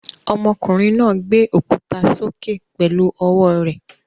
Ọmọkùnrin náà gbé òkúta sókè pẹ̀lú ọwọ́ rẹ̀.